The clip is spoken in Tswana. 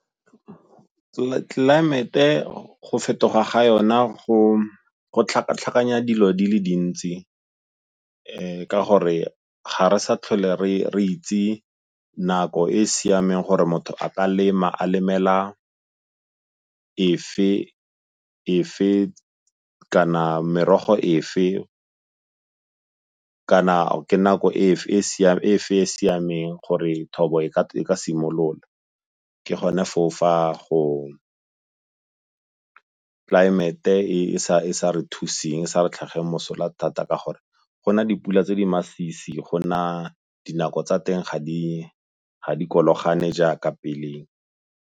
Tlelaemete go fetoga ga yona go tlhakatlhakanya dilo di le dintsi ka gore ga re sa tlhole re itse nako e e siameng gore motho a ka lema a lemela efe kana merogo efe, kana ke nako efe e e siameng gore thobo e ka simolola. Ke gone foo fa go, tlelaemete e sa re thusitseng e sa re tlhagelwe mosola thata ka gore go na dipula tse di masisi go na dinako tsa teng ga di kologane jaaka peleng.